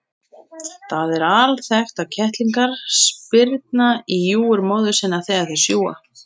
Það er alþekkt að kettlingar spyrna í júgur móður sinnar þegar þeir sjúga.